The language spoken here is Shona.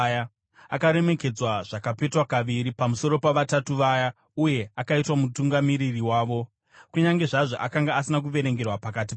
Akaremekedzwa zvakapetwa kaviri pamusoro paVatatu Vaya uye akaitwa mutungamiri wavo, kunyange zvazvo akanga asina kuverengerwa pakati pavo.